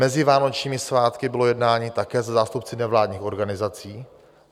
Mezi vánočními svátky bylo jednání také se zástupci nevládních organizací.